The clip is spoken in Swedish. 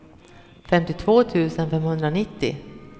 femtiotvå tusen femhundranittio